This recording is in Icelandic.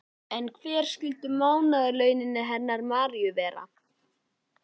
En hver skyldu mánaðarlaunin hennar Maríu vera?